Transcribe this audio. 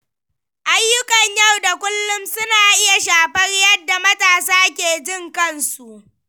Ayyukan yau da kullum suna iya shafar yadda matasa ke jin kansu.